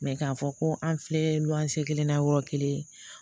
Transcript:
k'a fɔ ko an filɛ lo an se kelen na yɔrɔ kelen